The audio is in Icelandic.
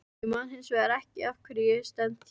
Ég man hins vegar ekki af hverju ég stend hér.